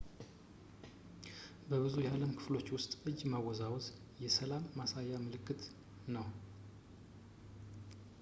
በብዙ የዓለም ክፍሎች ውስጥ እጅ ማወዛወዝ የ ሰላም” ማሳያ ምልክት ነው